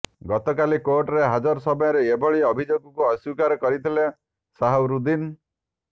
ଗତକାଲି କୋର୍ଟରେ ହାଜର ସମୟରେ ଏଭଳି ଅଭିଯୋଗକୁ ଅସ୍ୱୀକାର କରିଥିଲେ ସାହାରୁଦ୍ଦିନ୍